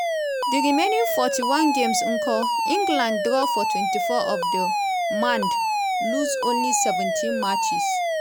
di remaining 41 games nko england draw for 24 of de mand lose only seventeenmatcjes.